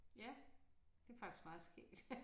Ja det faktisk meget skægt